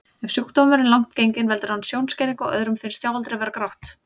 Ef sjúkdómurinn er langt genginn veldur hann sjónskerðingu og öðrum finnst sjáaldrið vera grátt.